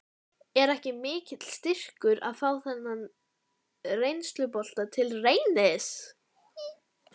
Er ekki mikill styrkur að fá þennan reynslubolta til Reynis?